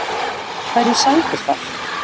Hverju sætir það?